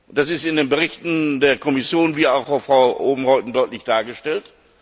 Das ist in den Berichten der Kommission wie auch von Frau Oomen Ruijten deutlich dargestellt.